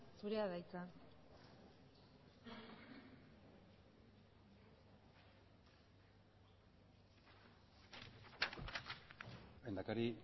zurea da hitza lehendakari